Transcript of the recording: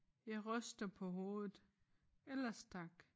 Jeg ryster på hovedet ellers tak